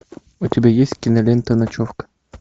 у тебя есть кинолента ночевка